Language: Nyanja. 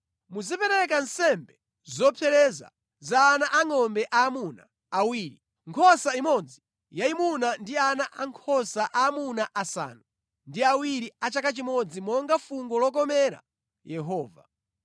Muzipereka nsembe zopsereza za ana angʼombe aamuna awiri, nkhosa imodzi yayimuna ndi ana ankhosa aamuna asanu ndi awiri a chaka chimodzi monga fungo lokomera Yehova.